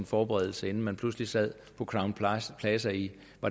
forberedt sig inden man pludselig sad på crown plaza plaza i